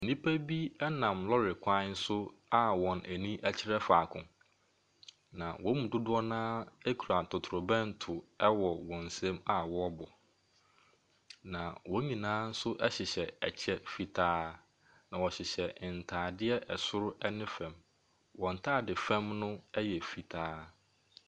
Nnipa nam lɔɔre kwan so a wɔn ani kyerɛ faako. Na wyn mu dodoɔ no ara kura totrobunto a wɔrebɔ. Na wɔn nyinaa hyehyɛ kyɛ fitaa. Na wɔhyehyɛ ntaadeɛ soro ne fam. Na wɔn ntaadeɛ fam no yɛ fitaa.